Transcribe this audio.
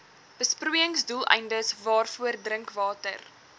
besproeiingsdoeleindes waarvoor drinkwater